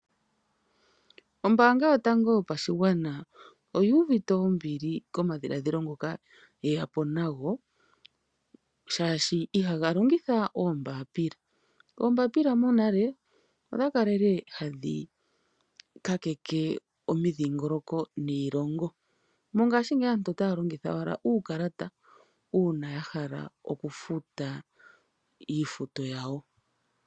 Ombanga yotango yopashigwana oyi uvite ombili komashiladhilo ngoka ye yapo nago shashi ihaga longitha oombapila. Oombapila monale odha kalele hadhi ka keke omidhingoloko niilongo mongashi ngeyi aantu otaya longitha owala uukalata una ya hala oku futa iifuto yawo.